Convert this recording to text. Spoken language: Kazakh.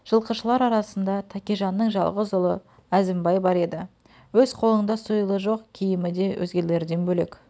жылқышылар арасында тәкежанның жалғыз ұлы әзімбай бар еді өз қолында сойылы жоқ киімі де өзгелерден бөлек